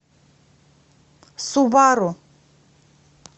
субару